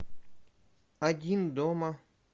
один дома